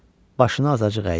Başını azacıq əydi.